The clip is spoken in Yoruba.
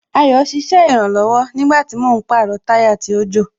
Ayo ṣiṣẹ́ ìrànlọ̀wọ̀ nígbàtí mò ń pàrọ̀ táyà tó jò